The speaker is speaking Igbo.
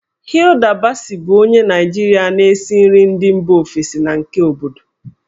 Hilda Baci bụ onye Naịjirịa na-esi nri ndị mba ofesi na nke obodo.